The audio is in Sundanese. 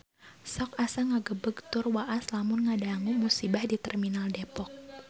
Sok asa ngagebeg tur waas lamun ngadangu musibah di Terminal Depok